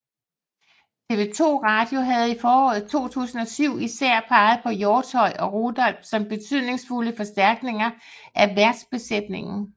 TV 2 Radio havde i foråret 2007 især peget på Hjortshøj og Rudolph som betydningsfulde forstærkninger af værtsbesætningen